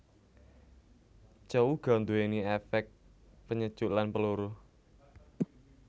Cao uga nduwéni éfék penyejuk lan peluruh